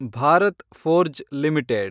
Bharat Forge limited